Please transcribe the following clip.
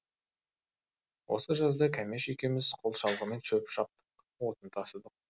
осы жазда кәмеш екеуміз қол шалғымен шөп шаптық отын тасыдық